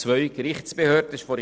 Kommissionssprecher der JuKo.